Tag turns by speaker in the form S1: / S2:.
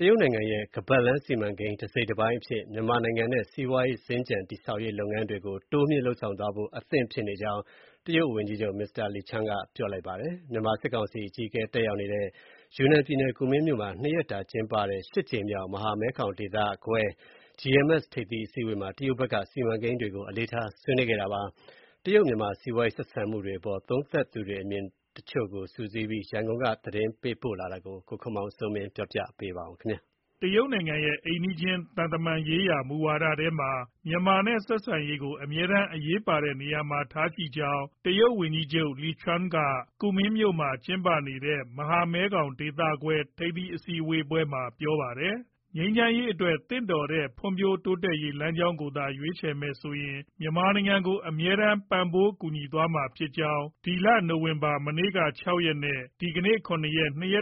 S1: တရုတ်နိုင်ငံရဲ့ ခါးပတ်လမ်းစီမံကိန်း တစိတ်တပိုင်းအဖြစ် မြန်မာနိုင်ငံနဲ့ စီးပွားရေးစင်္ကြန် တည်ဆောက်ရေးလုပ်ငန်းတွေကို တိုးမြှင့်သွားဖို့အဆင့်သင့်ဖြစ်နေကြောင်း တရုတ်ဝန်ကြီးချုပ် မစ္စတာလီချောင်န်က ပြောလိုက်ပါတယ်။ မြန်မာစစ်ကောင်စီအကြီးအကဲ တက်ရောက်နေတဲ့ ယူနန်ပြည်နယ်၊ ကူမင်းမြို့မှာ နှစ်ရက်ကြာ ရှစ်ကြိမ်မြောက် မဟာမဲခေါင်ဒေသခွဲ ထိပ်သီးအစည်းအဝေးမှာ တရုတ်ဘက်က စီမံကိန်းတွေကို အလေးထား ဆွေးနွေးခဲ့တာပါ။ တရုတ်၊ မြန်မာ စီးပွားရေး ဆက်ဆံမှုတွေအပေါ် သုံးသပ်သူ အမြင်တွေကို စုစည်းပြီး ရန်ကုန်က သတင်းပေးပို့ထားတာကို ကိုခင်မောင်စိုးမင်း တင်ပြထားပါတယ်
S2: ။ တရုတ်နိုင်ငံရဲ့ အိမ်နီးချင်း သံတမန်ရေးရာ မူဝါဒထဲမှာ မြန်မာနဲ့ ဆက်ဆံရေးကို အမြဲတမ်း အရေးပါတဲ့ နေရာမှာထားကြောင်း တရုတ်ဝန်ကြီးချုပ် မစ္စတာလီချောင်န် က ကူမင်းမြို့မှာ ကျင်းပနေတဲ့ မဟာမဲခေါင်ဒေသခွဲ ထိပ်သီးအစည်းအဝေးမှာ ပြောပါတယ်။ ငြိမ်းချမ်းရေးအတွက် သင့်လျော်တဲ့ ဖွံ့ဖြိုးတိုးတက်ရေး လမ်းကြောင်းကိုသာ ရွေးချယ်မယ်ဆိုရင် မြန်မာနိုင်ငံကို အမြဲတမ်း ပံ့ပိုးကူညီသွားမှာဖြစ်ကြောင်း နိုဝင်ဘာ ၆ ရက်နဲ့ ၇ ရ